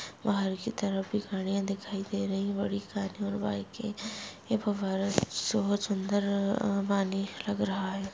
बाहर की तरफ ये गाड़ियाँ दिखाई दे रही हैं बड़ी कार और बाइक की ये फव्वारा स्वच्छ अंदर पानी लग रहा है।